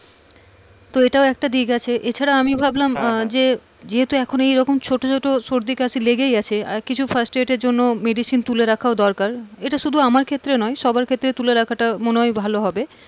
তো এটাও একটা দিক আছে এছাড়া আমি ভাবলাম আহ যে যেহেতু এইরকম ছোট ছোট সর্দিকাশি লেগেই আছে আর কিছু first aid এর জন্য medicine তুলে রাখাও দরকার। এটা সেটা আমার ক্ষেত্রে নয়, সবার ক্ষেত্রেই তুলে রাখাটা মনে হয় ভালো হবে,